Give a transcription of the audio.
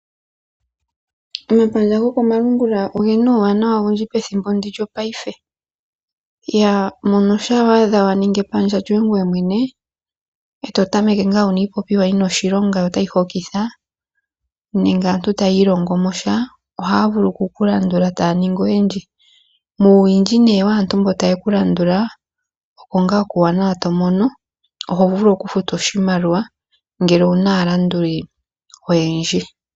Omapandja gokomalungula oge na uuwanawa owundji pethimbo ndi lyopaife. Mono shampa wa adha wa ningi epandja lyoye ngoye mwene e to tameke ngaa wu na iipopiwa yi na oshilonga yo otayi hokitha nenge aantu taya ilongo mo sha ohaya vulu oku ku landula e taya ningi oyendji. Muuwindji nee waantu mba taye ku landula, oko ngaa kuuwanawa to mono. Oho vulu okufutwa oshimaliwa ngele owu na aalanduli oyendji.